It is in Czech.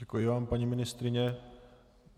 Děkuji vám, paní ministryně.